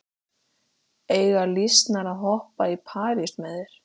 Eiga lýsnar að hoppa í parís með þér?